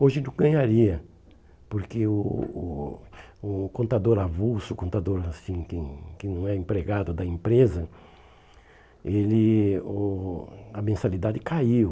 Hoje não ganharia, porque o o o contador avulso, o contador assim que hum que não é empregado da empresa, ele o, a mensalidade caiu.